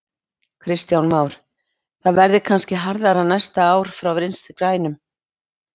Kristján Már: Það verði kannski harðara næsta ár frá Vinstri grænum?